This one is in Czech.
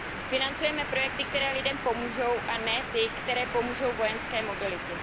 Financujme projekty, které lidem pomůžou, a ne ty, které pomůžou vojenské mobilitě.